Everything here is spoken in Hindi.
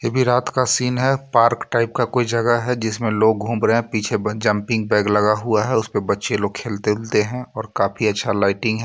ये भी रात का सीन है पार्क टाइप का कोई जगह है जिसमें लोग घूम रहे हैं पीछे बन जंपिंग बेग लगा हुआ है उस पे बच्चे लोग खेलते हैं और काफी अच्छा लाइटिंग है.